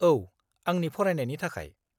औ, आंनि फरायनायनि थाखाय।